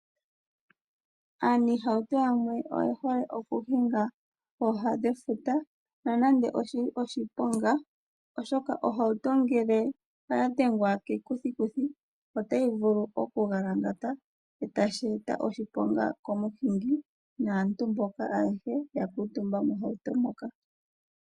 Aaniihauto yamwe oye hole okuhinga kooha dhefuta nonande oshili oshiponga, oshoka ohauto ngele oya dhengwa kekuthikuthiotayi vulu okugalangata etashi eta oshiponga komuhingi naantu ayehe ya kuutumba moshihauto moka.